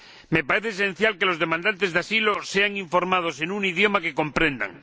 Me parece esencial que los demandantes de asilo sean informados en un idioma que comprendan.